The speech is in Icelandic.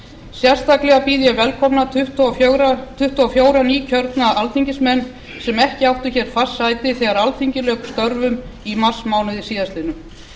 sérstaklega býð ég velkomna tuttugu og fjögur nýkjörna alþingismenn sem ekki áttu hér fast sæti þegar alþingi lauk störfum í marsmánuði síðastliðnum